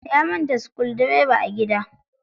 Ya manta sukudireba a gida.